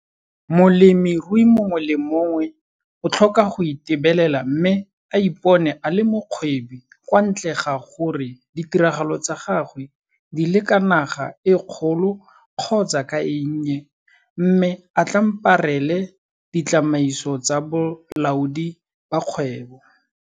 Molemirui mongwe le mongwe o tlhoka go itebelela mme a ipone a le mokgwebi kwa ntle ga gore ditiragalo tsa gagwe di le ka naga e kgolo kgotsa ka e nnye - mme a tlamparele ditsamaiso tsa bolaodi ba kgebo.